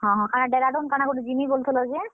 ହଁ ହଁ, କାଣା Dehradun କାଣା ଗୁଟେ ଯିମି ବୋଲୁଥିଲ ଯେ?